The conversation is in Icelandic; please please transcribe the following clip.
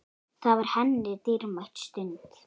Það var henni dýrmæt stund.